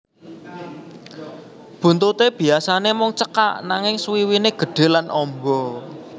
Buntuté biyasané mung cekak nanging swiwiné gedhe lan amba